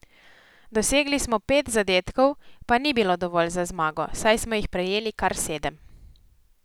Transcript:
Dosegli smo pet zadetkov, pa ni bilo dovolj za zmago, saj smo jih prejeli kar sedem.